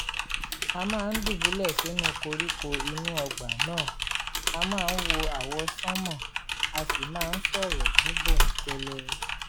a máa ń dùbúlẹ̀ sinú koríko inú ọgbà náà àá máa wo àwọsánmà a sì máa ń sọ̀rọ̀ ní bòńkẹ́lẹ́